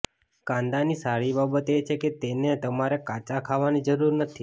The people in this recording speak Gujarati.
કાંદાની સારી બાબત એ છે કે તેને તમારે કાચા ખાવાની જરૂર નથી